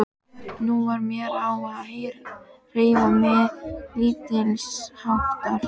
Nú varð mér á að hreyfa mig lítilsháttar.